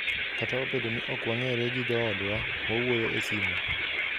Kata obedo ni ok wang'ere gi joodwa, wawuoyo e simo.